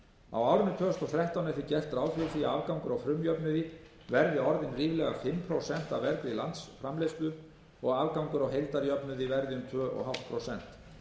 á árinu tvö þúsund og þrettán er því gert ráð fyrir því að afgangur á frumjöfnuði verði orðinn ríflega fimm prósent af vergri landsframleiðslu og að afgangur á heildarjöfnuði verði um tvö og hálft prósent